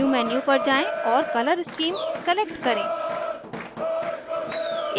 view menu पर जाएँ और color schemes select करें